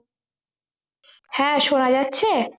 হ্যাঁ শোনা যাচ্ছে